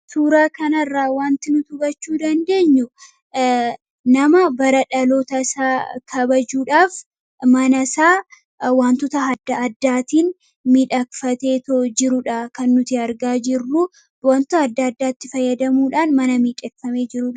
Suuraa kanarraa wanti nuti hubachuu dandeenyu nama bara dhaloota isaa kabajuudhaaf mana isaa wantota adda addaatiin miidhakfateetee jirudha. Kan nuti argaa jirruu wantota adda addaatti fayyadamuudhaan mana miidhegfamee jiru.